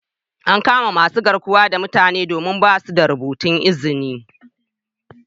An kama masun garkuwan da mutanen domin ba'su da rubutun izni.